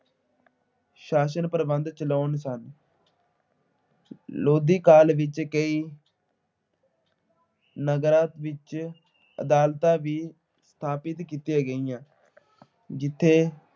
ਸ਼ਾਸਨ ਪ੍ਰਬੰਧ ਚਲਾਉਂਦੇ ਸਨ। ਲੋਧੀ ਕਾਲ ਵਿੱਚ ਕਈ ਨਗਰਾਂ ਵਿੱਚ ਅਦਾਲਤਾਂ ਵੀ ਸਥਾਪਤ ਕੀਤੀਆਂ ਗਈਆਂ, ਜਿੱਥੇ